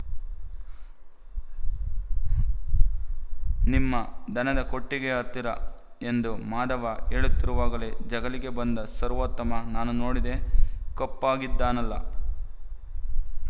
ನಿಮ್ಮ ದನದ ಕೊಟ್ಟಿಗೆಯ ಹತ್ತಿರಎಂದು ಮಾಧವ ಹೇಳುತ್ತಿರುವಾಗಲೇ ಜಗಲಿಗೆ ಬಂದ ಸರ್ವೋತ್ತಮ ನಾನೂ ನೋಡಿದೆ ಕಪ್ಪಗಿದ್ದಾನಲ್ಲ